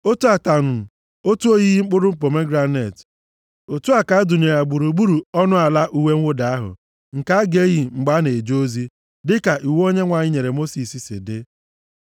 Otu ataṅụ, otu oyiyi mkpụrụ pomegranet, otu a ka a dụnyere ya gburugburu ọnụ ọnụ ala uwe mwụda ahụ, nke a ga-eyi mgbe a na-eje ozi, dịka iwu Onyenwe anyị nyere Mosis si dị.